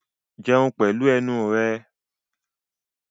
Jẹun pẹ̀lú ẹnu rẹ!